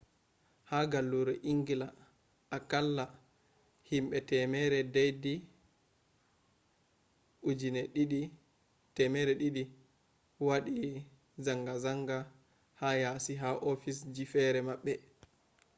ha gallure engila akalla hinbe temere deidi 200 wadi zangazangz ha yasi ha ofisije fere mabbe